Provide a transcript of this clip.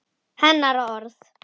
Hennar orð.